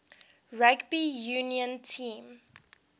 rugby union team